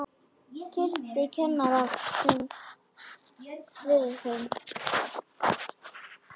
Kynnti kennara sinn fyrir þeim.